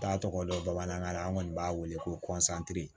T'a tɔgɔ dɔn bamanankan na an kɔni b'a wele ko